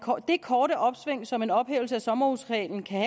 det korte opsving som en ophævelse af sommerhusreglen kan